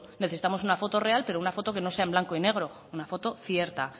necesitamos una foto real pero una foto que no sea en blanco y negro una foto cierta